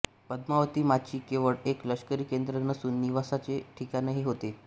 पद्मावती माची केवळ एक लष्करी केंद्र नसून निवासाचे ठिकाणही होते